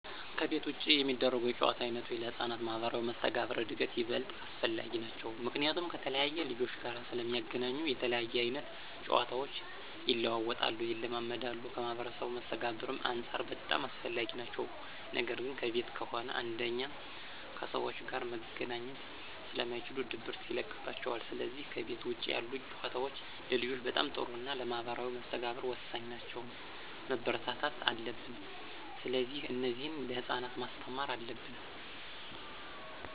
ከቤት ውጭ የሚደረጉ የጨዋታ ዓይነቶች ለሕፃናት ማኅበራዊ መስተጋብር እድገት ይበልጥ አስፈላጊ ናቸዉ። ምክንያቱም ከተለያየ ልጆች ጋር ስለሚገናኙ የተለያየ አይነት ጨዋታቸው ይለዋወጣሉ፣ ይለማመዳሉ ከማህበራዊ መስተጋብርም አንፃር በጣም አስፈላጊ ናቸው ነገር ግን ከቤት ከሆነ አንደኛ ከሰዎች ጋር መገናኘት ስለማይችሉ ድብርት ይለቅባቸዋል ስለዚህ ከቤት ውጭ ያሉ ጨዋታዎች ለልጆች በጣም ጥሩና ለማህበራዊ መስተጋብር ወሳኝ ናቸው፣ መበረታታት አለብን። ስለዚህ እነዚህን ለህፃናት ማስተማር አለብን።